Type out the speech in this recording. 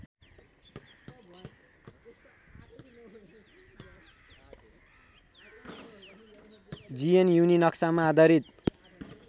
जिएनयुलिनक्समा आधारित